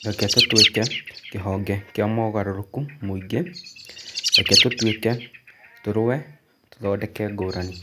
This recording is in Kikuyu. Reke tũtũĩke kĩhonge kĩa mogarũrũku mũingĩ: Reke tũĩke, tũrũwe, tũthondeke ngũrani.